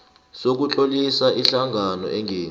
sokutlolisa ihlangano engenzi